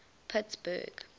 pittsburgh